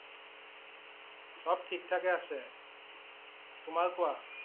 সব ঠিক থাকে আছে । তোমাৰ কোৱা